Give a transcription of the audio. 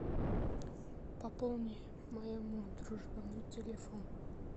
пополни моему дружбану телефон